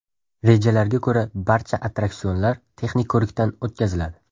Rejalarga ko‘ra, barcha attraksionlar texnik ko‘rikdan o‘tkaziladi.